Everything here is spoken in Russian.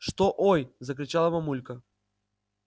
что ой закричала мамулька